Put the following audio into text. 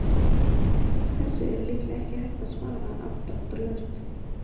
Þessu er líklega ekki hægt að svara afdráttarlaust.